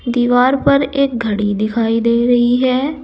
दीवार पर एक घड़ी दिखाई दे रही है।